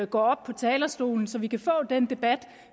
går op på talerstolen så vi kan få den debat